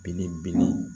Bilibele